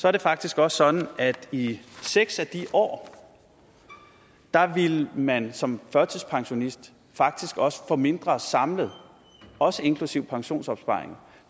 er det faktisk også sådan at i seks af de år ville man som førtidspensionist faktisk også få mindre samlet også inklusive pensionsopsparingen